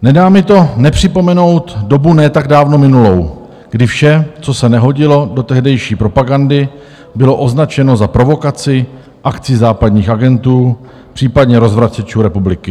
Nedá mi to nepřipomenout dobu ne tak dávno minulou, kdy vše, co se nehodilo do tehdejší propagandy, bylo označeno za provokaci, akci západních agentů, případně rozvracečů republiky.